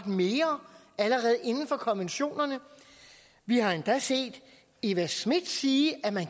mere allerede inden for konventionerne vi har endda set eva smith sige at man